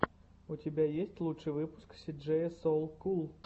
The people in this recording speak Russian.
у тебя есть лучший выпуск си джея соу кул